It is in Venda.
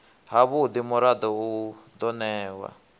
havhudi murado u do newa